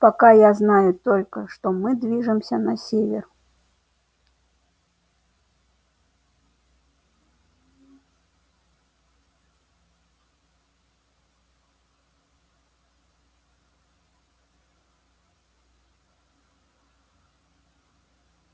пока я знаю только что мы движемся на север